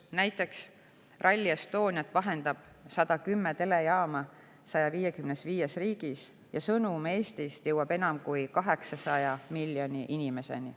Näiteks Rally Estoniat vahendab 110 telejaama 155 riigis ja sõnum Eestist jõuab nii enam kui 800 miljoni inimeseni.